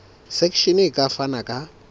section e ka fana ka